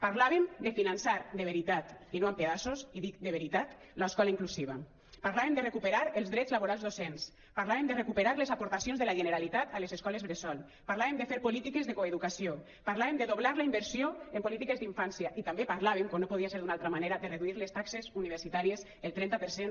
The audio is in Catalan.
parlàvem de finançar de veritat i no amb pedaços i dic de veritat l’escola inclusiva parlàvem de recuperar els drets laborals docents parlàvem de recuperar les aportacions de la generalitat a les escoles bressol parlàvem de fer polítiques de coeducació parlàvem de doblar la inversió en polítiques d’infància i també parlàvem com no podia ser d’una altra manera de reduir les taxes universitàries el trenta per cent